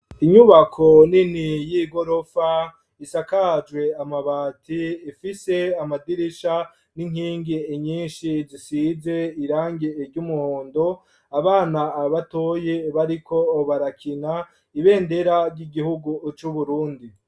Inyubako nini y'igorofa isakajwe amabati ifise amadirisha n'inkingi inyinshi zisize irange iryumuhondo, abana batoya bariko barakina ibendera ry'igihugu c'uburundi.